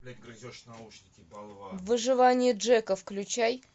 выживание джека включай